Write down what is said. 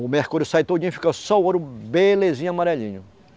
O mercúrio sai todinho, fica só o ouro belezinha, amarelinho.